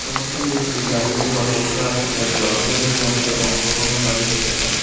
কয়েকজন ব্যক্তি দাঁড়িয়ে বা বসে আছেন যার দর্শকদের মধ্যে অংশগ্রহণকারী হতে পারে।